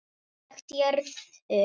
Nálægt jörðu